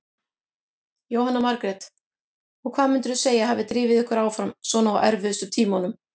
Jóhanna Margrét: Og hvað myndirðu segja að hafi drifið ykkur áfram svona á erfiðustu tímunum?